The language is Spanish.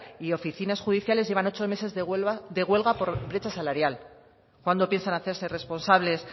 y oficinas judiciales llevan ocho meses de huelga por brecha salarial cuándo piensan hacerse responsables